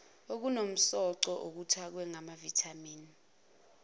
okunomsoco okuthakwe ngamavithamini